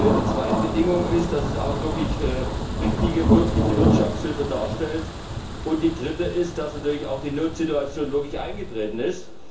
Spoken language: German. Die zweite Bedingung ist, dass es auch richtige, wirkliche Wirtschafthilfe darstellt, und die Dritte ist, dass natürlich auch die Notsituation wirklich eingetreten ist.